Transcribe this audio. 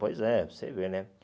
Pois é, você vê, né?